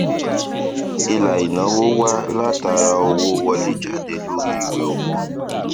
ilà ìnáwó wá látara owó wọléjáde lórí ìwé owó